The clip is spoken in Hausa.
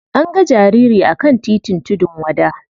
An ga jariri a kan titin tudun wada.